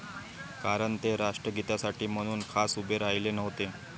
कारण ते राष्ट्रगीतासाठी म्हणून खास उभे राहिले नव्हते.